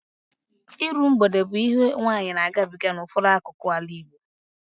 Iru mgbede bụ ihe nwaanyị na-agabiga n'ụfọdụ akụkụ ala Igbo